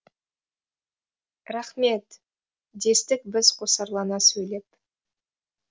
рақмет дестік біз қосарлана сөйлеп